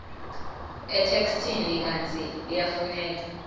etheksthini kantsi liyafuneka